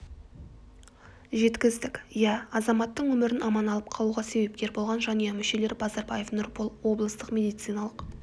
жеткіздік иә азаматтың өмірін аман алып қалуға себепкер болған жанұя мүшелері базарбаев нұрбол облыстық медициналық